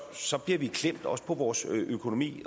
så bliver vi klemt også på vores økonomi